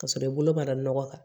K'a sɔrɔ i bolo mara nɔgɔ kan